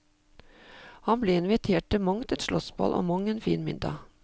Han ble invitert til mangt et slottsball og mang en fin middag.